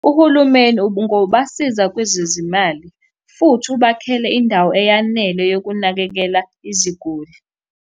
Uhulumeni ungobasiza kwezezimali futhi ubakhele indawo eyanele yokunakekela iziguli.